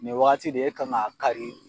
Nin wagati de e kan ŋ'a kari